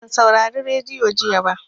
Ban saurari radiyo jiya ba.